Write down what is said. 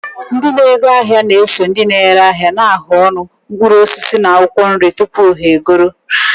Ndị na-ego ahịa na-eso na ndị ere ahịa na-ahụ ọnụ mkpụrụ osisi na akwụkwọ nri tupu ha egoro.